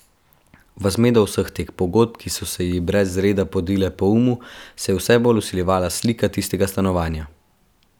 V zmedo vseh teh podob, ki so se ji brez reda podile po umu, se je vse bolj vsiljevala slika tistega stanovanja.